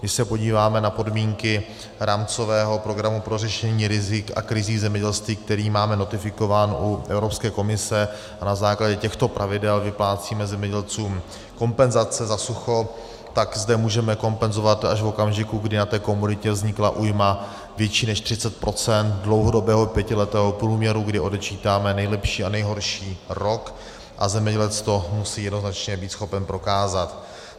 Když se podíváme na podmínky rámcového programu pro řešení rizik a krizí zemědělství, který máme notifikován u Evropské komise a na základě těchto pravidel vyplácíme zemědělcům kompenzace za sucho, tak zde můžeme kompenzovat až v okamžiku, kdy na té komoditě vznikla újma větší než 30 % dlouhodobého pětiletého průměru, kdy odečítáme nejlepší a nejhorší rok a zemědělec to musí jednoznačně být schopen prokázat.